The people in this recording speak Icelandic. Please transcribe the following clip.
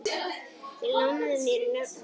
Þeir lánuðu mér nöfnin sín.